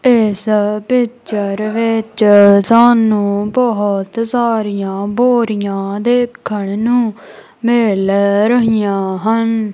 ਇਸ ਪਿਚਰ ਵਿੱਚ ਸਾਨੂੰ ਬਹੁਤ ਸਾਰੀਆਂ ਬੋਰੀਆਂ ਦੇਖਣ ਨੂੰ ਮਿਲ ਰਹੀਆਂ ਹਨ।